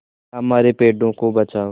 हमारे पेड़ों को बचाओ